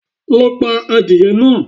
Lo pa adìye náa